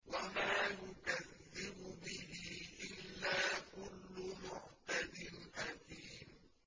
وَمَا يُكَذِّبُ بِهِ إِلَّا كُلُّ مُعْتَدٍ أَثِيمٍ